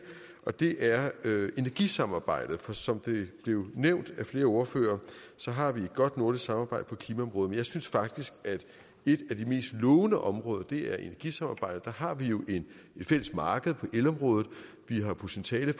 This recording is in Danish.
og det er energisamarbejdet for som det blev nævnt af flere ordførere har vi et godt nordisk samarbejde på klimaområdet men jeg synes faktisk at et af de mest lovende områder er energisamarbejdet der har vi jo et fælles marked på elområdet vi har potentiale